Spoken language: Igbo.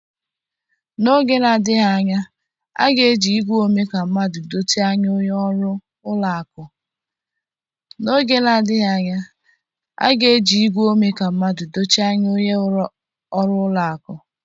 N'oge na-adịghị anya, a ga-eji igwe ome ka mmadụ dochie anya onye ọrụ ụlọ akụ.